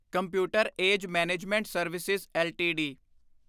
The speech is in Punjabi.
computer A G E management service LTD